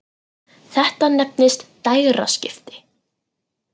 Þetta nefnist dægraskipti.